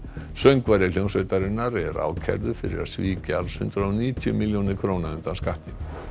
söngvari hljómsveitarinnar er ákærður fyrir að svíkja alls hundrað og níutíu milljónir króna undan skatti